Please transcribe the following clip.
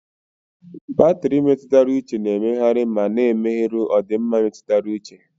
Batrị mmetụta uche na-emegharị ma na-emerụ ọdịmma mmetụta uche.